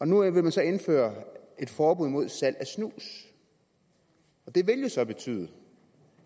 nu vil man så indføre et forbud mod salg af snus det vil jo betyde